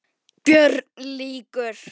BÖRN LÝKUR